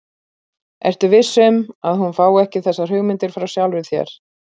Ertu viss um, að hún fái ekki þessar hugmyndir frá sjálfri þér?